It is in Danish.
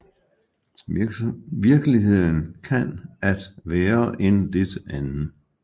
Virkeligheden kan at være en lidt anden